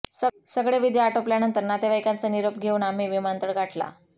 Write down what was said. सगळे विधी आटोपल्यानंतर नातेवाईकांचा निरोप घेऊन आम्ही विमानतळ गाठला